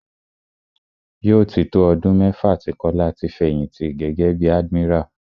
Yóò tí tó ọdún mẹ́fà tí Kọ́lá ti fẹ̀yìnti gẹ́gẹ́ bí admiral.